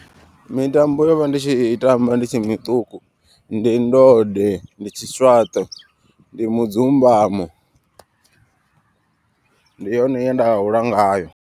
Mitambo yo vha ndi tshi tamba nditshi miṱuku ndi ndode, ndi tshi swaṱe ndi mudzumbamo ndi yone ye nda hula ngayo.